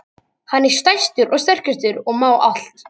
Hann er stærstur og sterkastur og má allt.